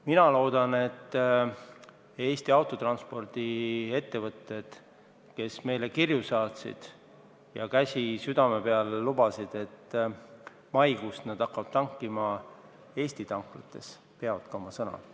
Mina loodan, et Eesti autotranspordiettevõtted, kes meile kirju saatsid ja käsi südamel lubasid, et maikuust nad hakkavad tankima Eesti tanklates, oma sõna ka peavad.